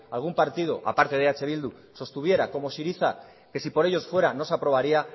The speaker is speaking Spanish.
algún partido aparte de eh bildu sostuviera como syriza que si por ellos fuera no se aprobaría